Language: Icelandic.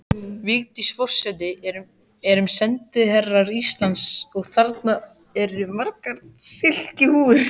Vigdís forseti erum sendiherrar Íslands og þarna eru margar silkihúfur.